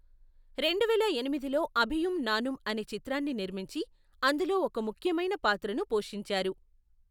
రెండువేల ఎనిమిదిలో అభియుమ్ నానుం అనే చిత్రాన్ని నిర్మించి, అందులో ఒక ముఖ్యమైన పాత్రను పోషించారు.